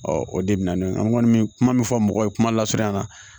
o de bɛ na ne kɔni bɛ kuma min fɔ mɔgɔw ye kuma lasurunya na